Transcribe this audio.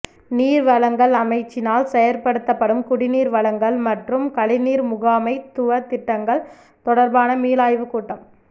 நீர் வழங்கல் அமைச்சினால் செயற்படுத்தப்படும் குடிநீர் வழங்கல் மற்றும் கழிவுநீர் முகாமைத்துவ திட்டங்கள் தொடர்பான மீளாய்வுக் கூட்டம்